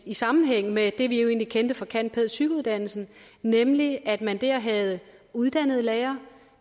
i sammenhæng med det vi jo egentlig kendte fra candpædpsych uddannelsen nemlig at man dér havde uddannede lærere